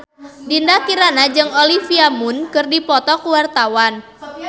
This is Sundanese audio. Dinda Kirana jeung Olivia Munn keur dipoto ku wartawan